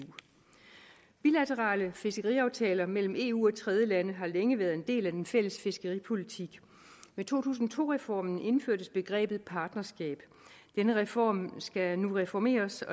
bilaterale fiskeriaftaler mellem eu og tredjelande har længe været en del af den fælles fiskeripolitik med to tusind og to reformen indførtes begrebet partnerskab denne reform skal nu reformeres